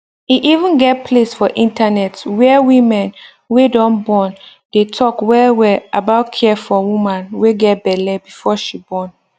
e even get place for internet where women wey don born dey talk well well about care for woman wey get belle before she born